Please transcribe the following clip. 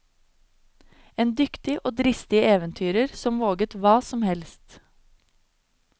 En dyktig og dristig eventyrer som våget hva som helst.